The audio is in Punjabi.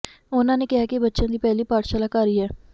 ਉਨ੍ਹਾਂ ਨੇ ਕਿਹਾ ਕਿ ਬੱਚਿਆਂ ਦੀ ਪਹਿਲੀ ਪਾਠਸ਼ਾਲਾ ਘਰ ਹੀ ਹੈ